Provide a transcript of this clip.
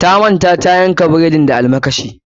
Ta manta tayanka bredin da almakashi.